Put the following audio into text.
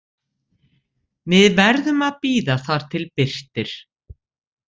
Við verðum að bíða þar til birtir